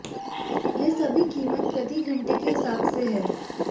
ये सभी कीमत प्रति घंटे के हिसाब से हैं